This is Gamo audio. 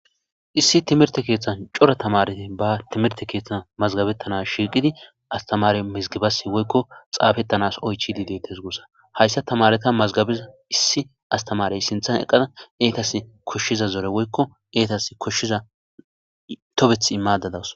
Issi timirte keethan cora tamaareti baa timirte keethan mazgabettana Shirdi astamaare mizgebas woykko xaafetanas oychidi deettes guussa, hayssa tamaareta mazgabiza issi astamaareya sinthan eqqada entassi koshshiza zore woykko izetassi koshshiza tobethi immaadda de7awus.